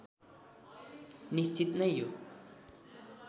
निश्चित नै यो